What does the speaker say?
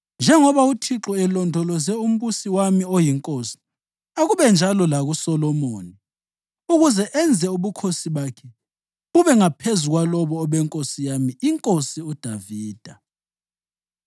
Njengoba uThixo elondoloze umbusi wami oyinkosi, akube njalo lakuSolomoni ukuze enze ubukhosi bakhe bube ngaphezu kwalobo obenkosi yami iNkosi uDavida!”